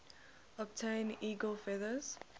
obtain eagle feathers